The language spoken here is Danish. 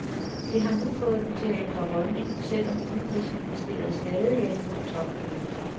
Det har nu fået dem til at ændre holdning, selv om udenrigsministeriet stadig er imod topmødet.